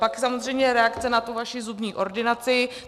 Pak samozřejmě reakce na tu vaši zubní ordinaci.